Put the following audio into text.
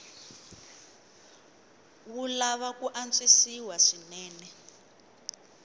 wu lava ku antswisiwa swinene